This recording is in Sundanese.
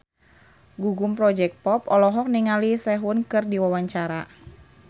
Gugum Project Pop olohok ningali Sehun keur diwawancara